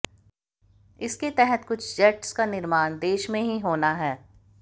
इसके तहत कुछ जेट्स का निर्माण देश में ही होना है